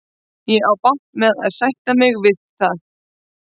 Ég á bágt með að sætta mig við það.